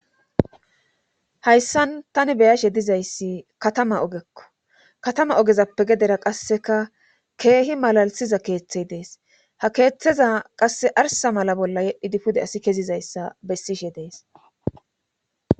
Hayssan tani beyashe dizayssi katama ogekko katama ogezappe gedera qasseka keehi malalisiza keeththey dees ha keeththeza qasse arsa mala bolla yedhidi pude asi kezizayssa bessishe dees.